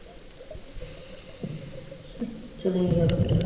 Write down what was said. চলেই গেল